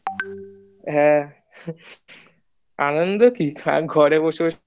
হ্যাঁ আনন্দ কি ঘরে বসে বসে গ